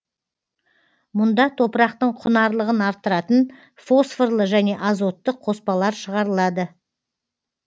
мұнда топырақтың құнарлығын арттыратын фосфорлы және азотты қоспалар шығарылады